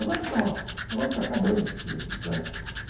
Agora está agora está acabando